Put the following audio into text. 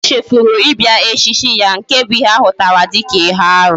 O chefuru ibia echichi ya. Nke bu nke ahutara dika ihe aru